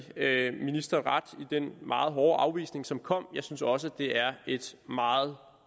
den meget hårde afvisning som kom jeg synes også det er et meget